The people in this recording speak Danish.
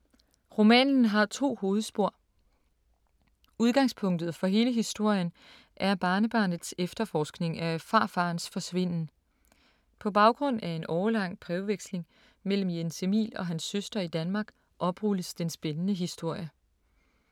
Romanen har to hovedspor. Udgangspunktet for hele historien er barnebarnets efterforskning af farfaderens forsvinden. På baggrund af en årelang brevveksling mellem Jens Emil og hans søster i Danmark, oprulles den spændende historie.